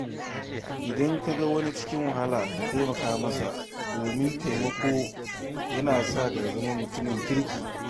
Idan ka ga wani cikin wahala, ka taimaka masa, don taimako yana sa ka zama mutumin kirki.